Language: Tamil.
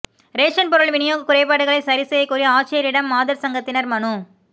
ரேஷன் பொருள் விநியோக குறைபாடுகளை சரிசெய்யக் கோரி ஆட்சியரிடம் மாதா் சங்கத்தினா் மனு